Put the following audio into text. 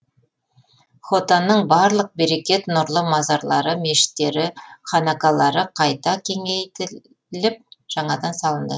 хотанның барлық берекет нұрлы мазарлары мешіттері ханақалары қайта кеңейтіліп жаңадан салынды